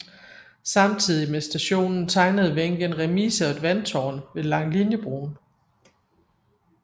Samtidigt med stationen tegnede Wenck en remise og et vandtårn ved Langeliniebroen